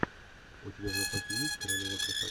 у тебя в запасе есть королева красоты